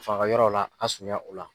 Fanga yɔrɔ la a surunya o la.